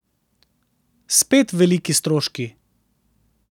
Spet veliki stroški.